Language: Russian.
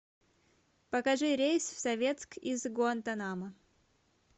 покажи рейс в советск из гуантанамо